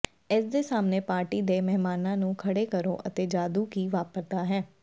ਇਸਦੇ ਸਾਹਮਣੇ ਪਾਰਟੀ ਦੇ ਮਹਿਮਾਨਾਂ ਨੂੰ ਖੜ੍ਹੇ ਕਰੋ ਅਤੇ ਜਾਦੂ ਕੀ ਵਾਪਰਦਾ ਹੈ